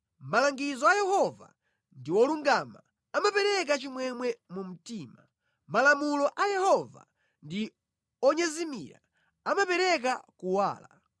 Malangizo a Yehova ndi olungama, amapereka chimwemwe mu mtima. Malamulo a Yehova ndi onyezimira, amapereka kuwala.